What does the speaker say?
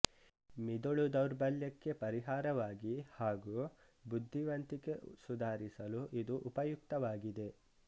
ಮಿದುಳು ದೌರ್ಬಲ್ಯಕ್ಕೆ ಪರಿಹಾರವಾಗಿ ಹಾಗೂ ಬುದ್ಧಿವಂತಿಕೆ ಸುಧಾರಿಸಲು ಇದು ಉಪಯುಕ್ತವಾಗಿದೆ